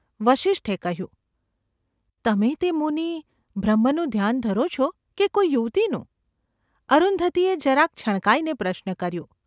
’ વસિષ્ઠે કહ્યું. ‘તમે તે મુનિ ! બ્રહ્મનું ધ્યાન ધરો છો કે કોઈ યુવતીનું ?’ અરુંધતીએ જરાક છણકાઈને પ્રશ્ન કર્યો.